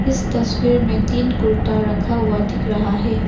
इस तस्वीर में तीन कुर्ता रखा हुआ दिख रहा है।